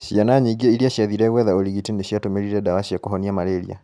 Ciana nyingĩ iria ciathiire gwetha ũrigiti nĩciatũmĩrire dawa cia kũhonia malaria